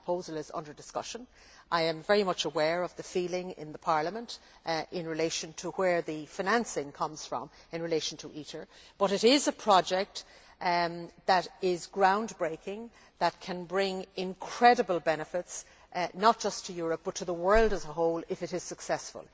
That proposal is under discussion, and I am very much aware of the feeling in Parliament regarding where the financing comes from in relation to ITER, but it is a project that is ground breaking and can bring incredible benefits not just to Europe, but to the world as a whole if it is successful.